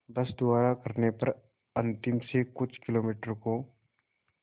बस द्वारा करने पर अंतिम से कुछ किलोमीटर को